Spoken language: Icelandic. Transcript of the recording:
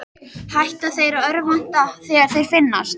Hætta þeir að örvænta þegar þeir finnast?